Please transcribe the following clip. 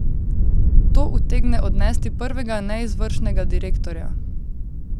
To utegne odnesti prvega neizvršnega direktorja.